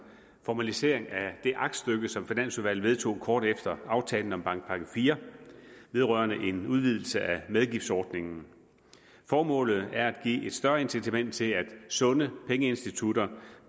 formalisering af det aktstykke som finansudvalget vedtog kort efter aftalen om bankpakke iv vedrørende en udvidelse af medgiftsordningen formålet er at give et større incitament til at sunde pengeinstitutter